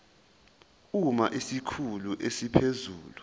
uma isikhulu esiphezulu